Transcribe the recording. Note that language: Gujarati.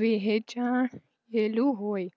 વહચાયેલું હોય